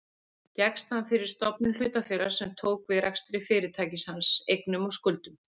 Gekkst hann fyrir stofnun hlutafélags sem tók við rekstri fyrirtækis hans, eignum og skuldum.